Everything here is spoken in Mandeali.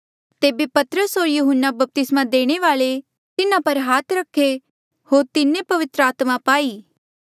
तेबे पतरस होर यहून्ना बपतिस्मा देणे वाल्ऐ तिन्हा पर हाथ रखे होर तिन्हें पवित्र आत्मा पाई